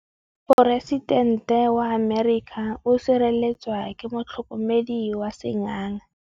Poresitêntê wa Amerika o sireletswa ke motlhokomedi wa sengaga.